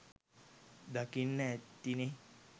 දකින්න ඇතිනේ